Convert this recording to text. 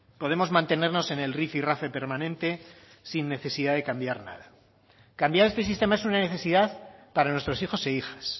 podemos mantenernos en el rifirrafe permanente sin necesidad de cambiar nada cambiar este sistema es una necesidad para nuestros hijos e hijas